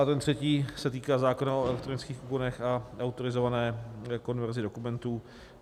A ten třetí se týká zákona o elektronických úkonech a autorizované konverzi dokumentů.